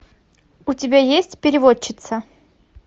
у тебя есть переводчица